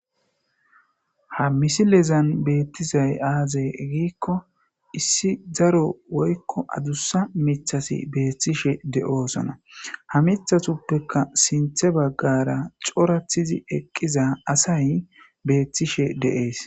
ha misilezan beettizay aazey giikko issi zaro woykko adussa mithasi beethtishe de7oosona ha mithatuppeka sinthe baggara corathizi eqqiza asay beethtishe de7ees